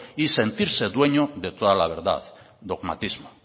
y sentirse dueño de toda la verdad dogmatismo